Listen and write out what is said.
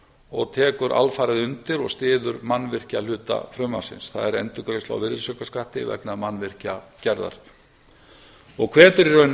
og tekur alfarið undir og styður mannvirkjahluta frumvarpsins það er endurgreiðsla á virðisaukaskatti vegna mannvirkjagerðar og hvetur í raun